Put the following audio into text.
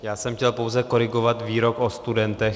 Já jsem chtěl pouze korigovat výrok o studentech.